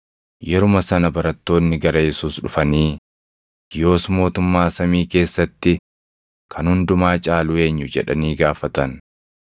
Yeruma sana barattoonni gara Yesuus dhufanii, “Yoos mootummaa samii keessatti kan hundumaa caalu eenyu?” jedhanii gaafatan.